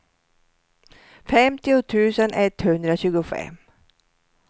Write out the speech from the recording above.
femtio tusen etthundratjugofem